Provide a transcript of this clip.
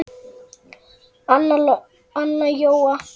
Anna Jóa